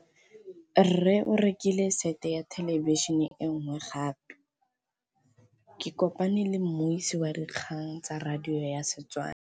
Rre o rekile sete ya thêlêbišênê e nngwe gape. Ke kopane mmuisi w dikgang tsa radio tsa Setswana.